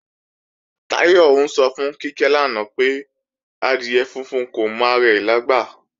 Táyọ̀ ń sọ fún Kíkẹ́ lánàá pé, adìẹ funfun kò mọ ara rẹ̀ lágbà